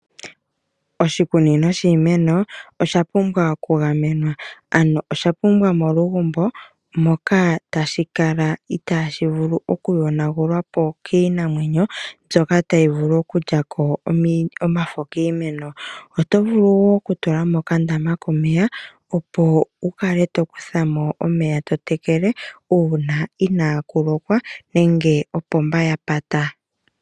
Oshikunino shiimeno osha pumbwa okugamenwa, ano osha pumbwa molugumbo moka taashi kala itaashi vulu okuyonagulwa po kiinamwenyo mbyoka tayi vulu okulya ko omafo kiimeno. Oto vulu wo okutula mo okandaama komeya, opo wu kale to okukutha mo omeya to tekele uuna inaaku lokwa nenge opomba ya pata.